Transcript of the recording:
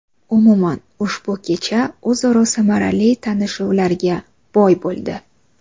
Umuman, ushbu kecha o‘zaro samarali tanishuvlarga boy bo‘ldi.